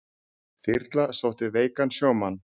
Þyrla sótti veikan sjómann